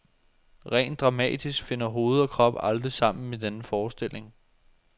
Rent dramatisk finder hoved og krop aldrig sammen i denne forestilling.